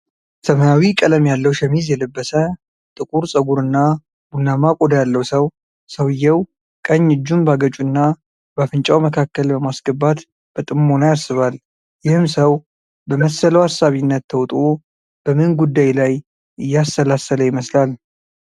ሰማያዊ ቀለም ያለው ሸሚዝ የለበሰ፣ ጥቁር ፀጉር እና ቡናማ ቆዳ ያለው ሰው፣ ሰውየው ቀኝ እጁን በአገጩና በአፍንጫው መካከል በማስገባት በጥሞና ያስባል፤ ይህም ሰው በመሰለው አሳቢነት ተውጦ በምን ጉዳይ ላይ እያሰላሰለ ይመስላል?